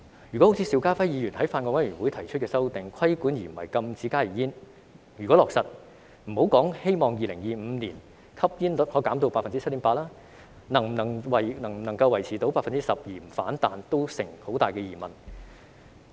如果落實好像邵家輝議員在法案委員會上提出的修訂，只是規管而不是禁止加熱煙，那莫說希望在2025年將吸煙率降低至 7.8%， 能否維持在 12% 而不反彈也存有很大疑問。